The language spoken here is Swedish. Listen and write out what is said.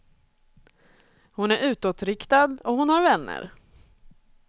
Hon är utåtriktad och hon har vänner.